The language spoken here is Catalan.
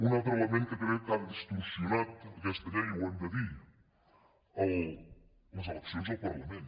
un altre element que crec que ha distorsionat aquesta llei i ho hem de dir les eleccions al parla·ment